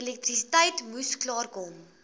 elektrisiteit moes klaarkom